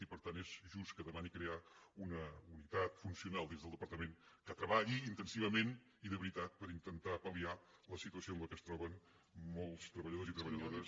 i per tant és just que demani crear una unitat funcional dins del departament que treballi intensivament i de veritat per intentar pal·liar la situació en què es troben molts treballadors i treballadores